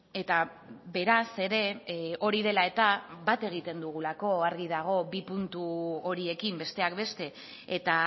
eta beraz ere hori dela eta bat egiten dugulako argi dago bi puntu horiekin besteak beste eta